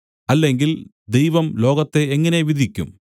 അല്ലെങ്കിൽ ദൈവം ലോകത്തെ എങ്ങനെ വിധിക്കും